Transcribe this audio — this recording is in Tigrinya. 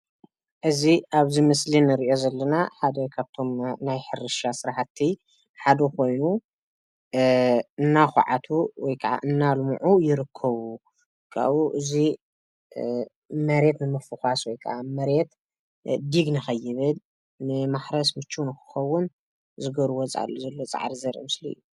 እዚ ኣብዚ ምስሊ እንሪኦ ዘለና ሓደ ካብቶም ናይ ሕርሻ ስራሕቲ ሓደ ኾይኑ እናኳዓቱ ወይ ከዓ እናልምዑ ይርከቡ፡፡ ካብኡ እዚ መሬት ንምፉኳስ ወይ ከዓ መሬት ዲግ ንኸይብል ንማሕረስ ምቹው ንኽኸውን ዝገብርዎ ዘለዉ ፃዕሪ ዘርኢ ምስሊ እዩ፡፡